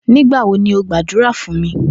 Nigbawo ni o gbadura fun mi?